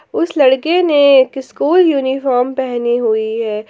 उस लड़के ने एक स्कूल यूनिफॉर्म पहनी हुई है।